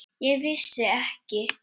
Ég vissi ekki.